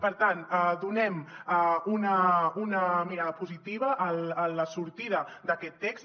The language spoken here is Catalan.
per tant donem una mirada positiva a la sortida d’aquest text